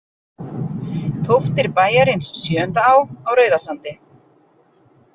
Tóftir bæjarins Sjöundá á Rauðasandi.